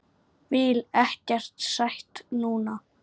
Vil ekkert sætt núna.